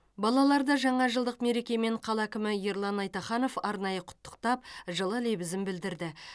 балаларды жаңа жылдық мерекемен қала әкімі ерлан айтаханов арнайы құттықтап жылы лебізін білдірді